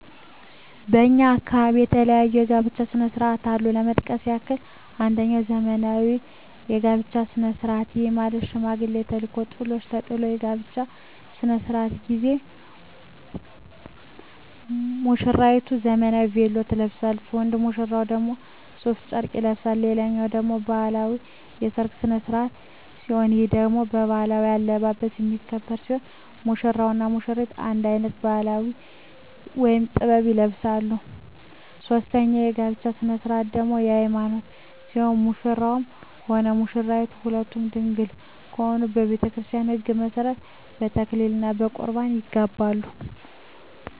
በእኛ አካባቢ የተለያዩ የጋብቻ ስነ ስርዓቶች አሉ ለመጥቀስ ያክል አንጀኛው ዘመናዊ የጋብቻ ስነ ስርዓት ይህም ማለት ሽማግሌ ተልኮ ጥሎሽ ተጥሎ የጋብቻው ስነ ስርዓት ጊዜ ሙስራይቱ ዘመናዊ ቬሎ ትለብሳለች ወንድ ሙሽራው ደግሞ ሡፍ ጨርቅ ይለብሳል ሌላኛው ደግሞ ባህላዊ የሰርግ ስነ ስርዓት ሲሆን ይህ ደግሞ በባህላዊ አልባሳት የሚከናወን ሲሆን ሙሽራው እና ሙሽሪቷ አንድ አይነት ባህላዊ(ጥበብ) ይለብሳሉ ሶስተኛው የጋብቻ ስነ ስርዓት ደግሞ የሀይማኖት ሲሆን ሙሽራውም ሆነ ሙሽራይቷ ሁለቱም ድንግል ከሆኑ በቤተክርስቲያን ህግ መሠረት በተክሊል እና በቁርባን ይጋባሉ።